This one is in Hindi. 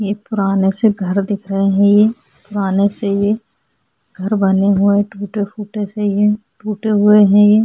ये पुराने से घर दिख रहे है ये पुराने से ये घर बने हुए टूटे-फूटे से ये टूटे हुए है ये।